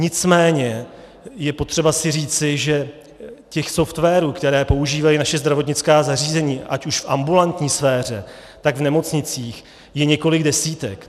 Nicméně je potřeba si říci, že těch softwarů, které používají naše zdravotnická zařízení ať už v ambulantní sféře, nebo v nemocnicích, je několik desítek.